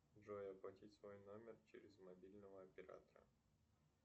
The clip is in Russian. джой оплатить свой номер через мобильного оператора